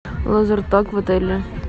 лазертаг в отеле